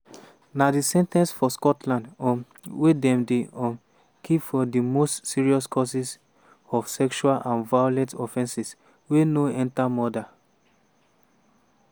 na di sen ten ce for scotland um wey dem dey um keep for di most serious cases of sexual and violent offenses wey no enta murder.